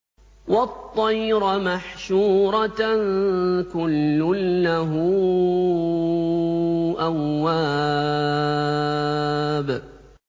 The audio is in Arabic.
وَالطَّيْرَ مَحْشُورَةً ۖ كُلٌّ لَّهُ أَوَّابٌ